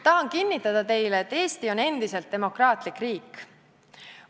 Tahan kinnitada teile, et Eesti on endiselt demokraatlik riik.